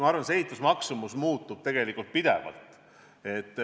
Ma arvan, et see muutub tegelikult pidevalt.